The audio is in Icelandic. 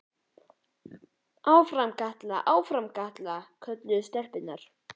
Áfram Kata, áfram Kata! kölluðu stelpurnar.